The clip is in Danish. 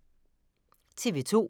TV 2